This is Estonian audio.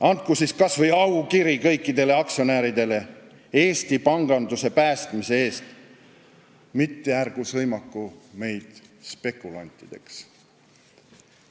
Andku siis kas või aukiri kõikidele aktsionäridele – Eesti panganduse päästmise eest –, mitte ärgu sõimaku spekulantideks.